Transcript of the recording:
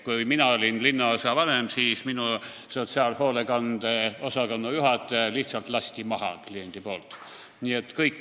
Kui mina olin linnaosavanem, siis minu sotsiaalhoolekande osakonna juhataja lasti kliendi poolt lihtsalt maha.